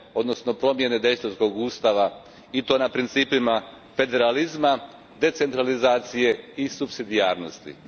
odnosno promjene Daytonskog ustava i to na principima federalizma, decentralizacije i supsidijarnosti.